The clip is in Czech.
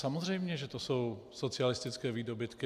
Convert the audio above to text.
Samozřejmě že to jsou socialistické výdobytky.